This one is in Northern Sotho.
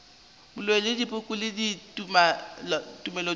boloi le dipoko le tumelothoko